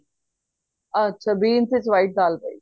ਅੱਛਾ beans ਵਿੱਚ white ਦਾਲ ਪਏਗੀ